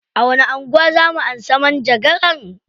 A wani anguwa zaa mu amshi manjagaran?